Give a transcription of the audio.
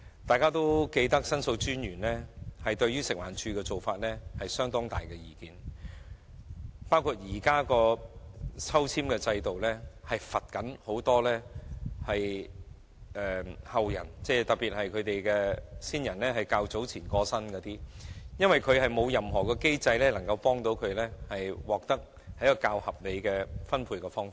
大家應該記得，申訴專員對於食環署的做法很有意見，認為現時的抽籤制度是在懲罰後人，特別是較早前剛有親人過身的後人，因為現時並沒有任何機制幫助他們獲得較合理的分配。